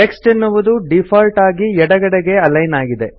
text ಎನ್ನುವುದು default ಆಗಿ ಎಡಗಡೆಗೆ ಅಲೈನ್ ಆಗಿದೆ